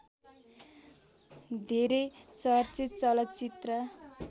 धेरै चर्चित चलचित्र